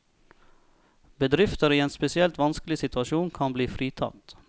Bedrifter i en spesielt vanskelig situasjon kan bli fritatt.